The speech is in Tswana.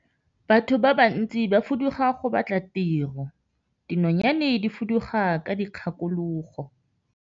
Batho ba bantsi ba fuduga go batla tiro, dinonyane di fuduga ka dikgakologo.